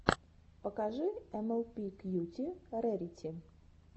покажи эмэлпи кьюти рэрити